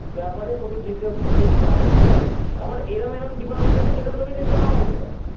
আবার এমন এমন department আছে যেখানে তোকে নাও যেতে হতে পারে